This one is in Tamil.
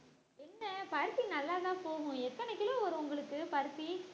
என்ன பருத்தி நல்லாதான் போகும் எத்தன kilo வரும் உங்களுக்கு பருத்தி